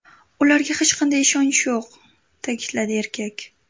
Ularga hech qanday ishonch yo‘q”, ta’kidladi erkak.